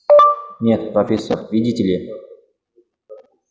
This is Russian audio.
нет профессор видите ли